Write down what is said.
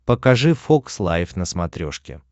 покажи фокс лайф на смотрешке